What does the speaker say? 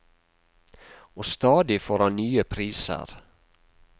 Og stadig får han nye priser.